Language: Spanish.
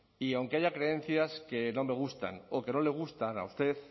y aunque haya creencias que no me gustan o que no le gustan a usted